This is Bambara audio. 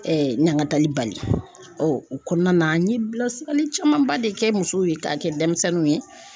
ɲangatali bali o kɔnɔna na an ye bilasirali camanba de kɛ musow ye k'a kɛ denmisɛnninw ye.